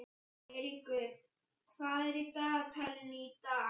Eyríkur, hvað er á dagatalinu í dag?